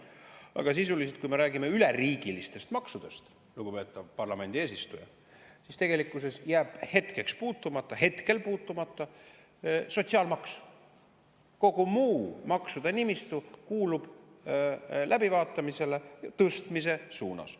Aga sisuliselt, kui me räägime üleriigilistest maksudest, lugupeetav parlamendi eesistuja, jääb tegelikkuses hetkel puutumata sotsiaalmaks, kogu muu maksude nimistu kuulub läbivaatamisele tõstmise suunas.